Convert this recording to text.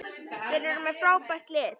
Þeir eru með frábært lið.